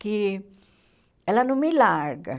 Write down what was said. que ela não me larga.